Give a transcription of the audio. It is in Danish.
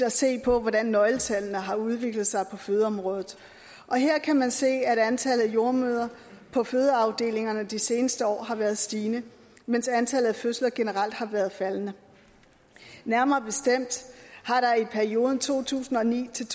at se på hvordan nøgletallene har udviklet sig på fødeområdet og her kan man se at antallet af jordemødre på fødeafdelingerne de seneste år har været stigende mens antallet af fødsler generelt har været faldende nærmere bestemt har der i perioden to tusind og ni til